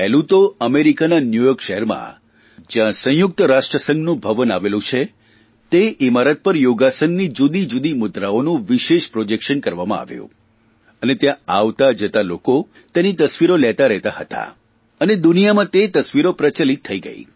પહેલું તો અમેરિકાના ન્યૂયોર્ક શહેરમાં જ્યાં સંયુક્ત રાષ્ટ્રસંઘનું ભવન આવેલું છે તે ઇમારત પર યોગાસનની જુદીજુદી મુદ્રાઓનું વિશેષ પ્રોજેકશન કરવામાં આવ્યું અને ત્યાં આવતા જતા લોકો તેની તસવીરો લેતાં રહેતાં હતા અને દુનિયાભરમાં તે તસવીરો પ્રચલિત થઇ ગઇ